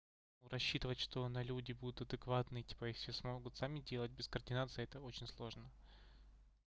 рассчитывать что на люди будут адекватные типа и всё смогут сами делать без координации это очень сложно